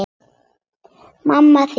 Mamma þín